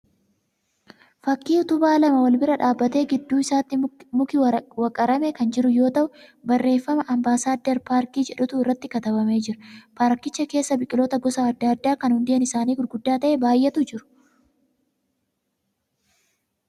Fakkii utubaa lama wal bira dhaabbatee gidduu isaatti muki waqaramee kan jiru yoo ta'u barreeffama 'Ambaassaaddar Paarkii' jedhutu irratti katabamee jira. Paarkicha keessa biqiloota gosa adda addaa kan hundeen isaanii gurguddaa ta'ee baay'eetu jiru.